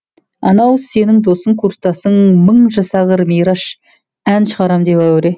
анау сенің досың курстасың мың жасағыр мейраш ән шығарам деп әуре